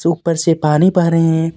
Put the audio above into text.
ऊपर से पानी बेह रहे हे.